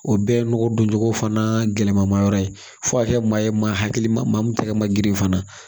O bɛɛ ye nɔgɔ doncogo fana gɛlɛma yɔrɔ ye fo ka kɛ maa ye maa hakilima min tɛgɛ ma girin fana